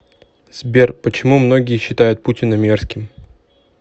сбер почему многие считают путина мерзким